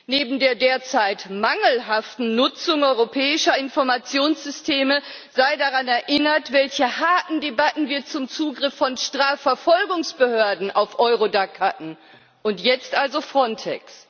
Neben der derzeit mangelhaften Nutzung europäischer Informationssysteme sei daran erinnert, welche harten Debatten wir zum Zugriff von Strafverfolgungsbehörden auf Eurodac hatten und jetzt also Frontex.